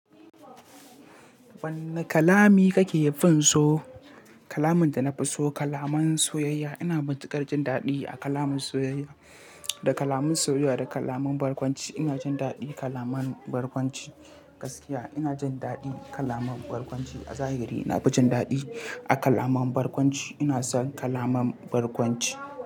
Wanne kalami kake finso? Kalamin da na fi so, kalaman soyayya. Ina matukar jin daɗi a kalaman soyayya. Da kalaman soyayya da kalaman barkwanci, ina jin daɗin kalaman barkwanci. Gaskiya ina jin daɗi kalaman barkwanci. A zahiri na fi jin daɗi a kalaman barkwanci. Ina son kalaman barkwanci.